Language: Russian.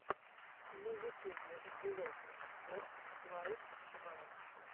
на ютюбе влог спорт лайф два